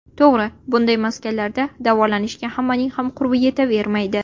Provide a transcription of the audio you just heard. To‘g‘ri, bunday maskanlarda davolanishga hammaning ham qurbi yetavermaydi.